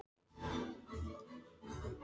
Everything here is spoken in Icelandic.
En mér fannst vænt um þetta, að geta hjálpað henni.